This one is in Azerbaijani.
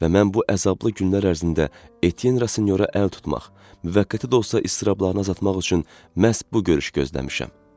və mən bu əzablı günlər ərzində Etyenrasinyora əl tutmaq, müvəqqəti də olsa iztirablarını azaltmaq üçün məhz bu görüşü gözləmişəm.